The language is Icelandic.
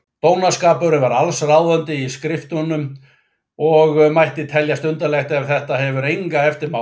Dónaskapurinn er allsráðandi í skrifunum og mætti teljast undarlegt ef þetta hefur enga eftirmála.